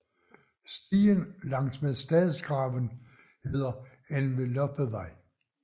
Stien langs med Stadsgraven hedder Enveloppevej